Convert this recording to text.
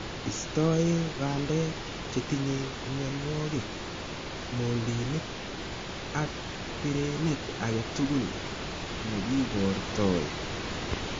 Istoe bandek che tinyei myanwogik, moldinik , ak pireneet age tugul ne kiboortoi